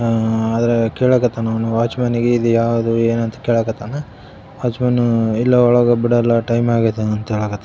ಹಾ ಆದರೆ ಕೇಳಾಕ್ ಹತ್ತಾನು ಅವನು ವಾಚುಮನ್ ಗೆ ಇದು ಯಾವುದು ಏನು ಅಂತ ಕೇಳಾಕ್ ಹಟ್ಟಾನು ವಾಚುಮನ್ ಇಲ್ಲ ಒಳಗೆ ಬಿಡಲ್ಲ ಟೈಮ್ ಆಗೈತೆ ಅಂತ ಹೇಳಾಕ್ ಹತ್ತಾನು.